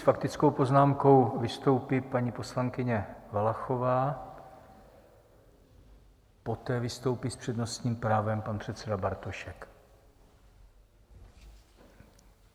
S faktickou poznámkou vystoupí paní poslankyně Valachová, poté vystoupí s přednostním právem pan předseda Bartošek.